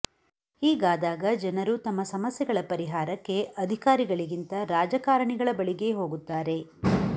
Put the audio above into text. ಹೀಗಾದಾಗ ಜನರು ತಮ್ಮ ಸಮಸ್ಯೆಗಳ ಪರಿಹಾರಕ್ಕೆ ಅಧಿಕಾರಿಗಳಿಗಿಂತ ರಾಜಕಾರಣಿಗಳ ಬಳಿಗೇ ಹೋಗುತ್ತಾರೆ